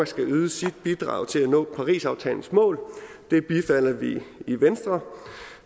skal yde sit bidrag til at nå parisaftalens mål det bifalder vi i venstre